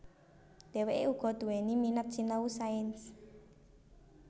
Dheweke uga duwéni minat sinau sains